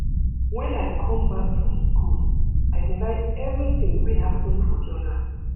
Wen I come back from skool, I dey write everytin wey happen for journal.